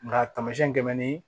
Nga tamasiɛn gɛmɛn ni